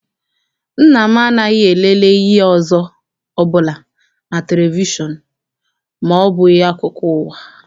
Nna m anaghị elele ihe ọzọ ọbụla na televishọn ma ọ bụghị akụkọ ụwa.